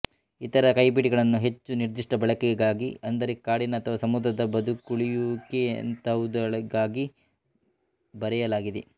ಇತರ ಕೈಪಿಡಿಗಳನ್ನು ಹೆಚ್ಚು ನಿರ್ದಿಷ್ಟ ಬಳಕೆಗಾಗಿ ಅಂದರೆ ಕಾಡಿನ ಅಥವಾ ಸಮುದ್ರದ ಬದುಕುಳಿಯುವಿಕೆಯಂತಹವುಗಳಿಗಾಗಿ ಬರೆಯಲಾಗಿದೆ